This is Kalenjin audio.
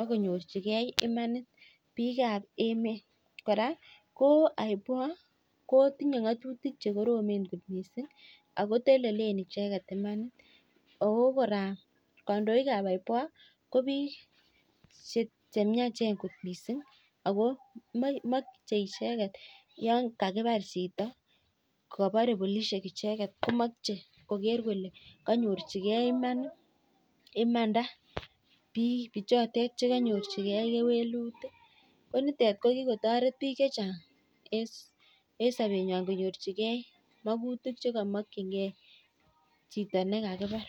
ak konyorchikei imanit biikab emet. Kora ko IPOA ko tinyei ng'atutik che koromen kot mising akotelele icheket imanit. Ako kora kandoikab IPOA ko biik che chemiachen kot mising ako machei icheket yon kakipar chito kaparei polishek icheket komachei koker kole kanyorchikei imanit, imanda biik ichotet che kanyorchigei kewelutik. Ko nitet ko kikotoret biik chechan'g en sobenyuai konyorchigei mogutik che kamokchingei chito ne kakipar.